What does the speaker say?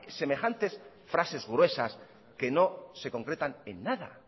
semejantes frases gruesas que no se concretan en nada